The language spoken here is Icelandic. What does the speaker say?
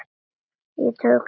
Ég tók þetta nærri mér.